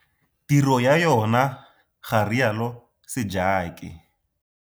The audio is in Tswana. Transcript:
Tiro ya yona, ga rialo Sejake.